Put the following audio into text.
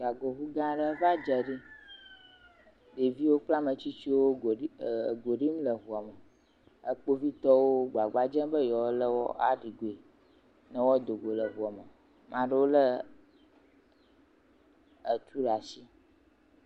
Gagoŋu gã aɖe va dze ɖi. Ɖeviwo kple ame tsitsiwo go ɖim e go ɖim le ŋua me. Kpovitɔwo gbagba dzem be yewoa le wo aɖi goe ne woado go le ŋua me. Ame aɖewo le etu ɖe asi.